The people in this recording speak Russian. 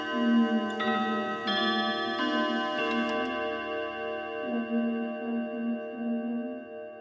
ну я думаю что дима не сидел бы в таком чате я уверена что он ценит своё время